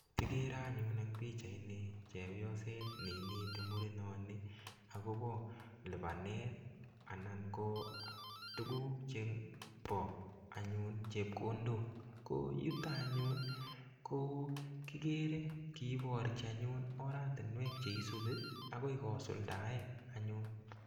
Akere anyun eng pichait ni chepyoset ne ineti murenoni akobo lipanet, anan ko tuguk chebo anyun chepkondok. Ko yutok anyun, ko kikere kiborchin anyun oratinwek che isubi, akoi kosuldae anyun.